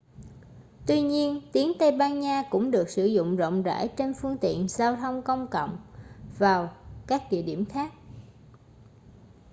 tuy nhiên tiếng tây ban nha cũng được sử dụng rộng rãi trên phương tiện giao thông công cộng và các địa điểm khác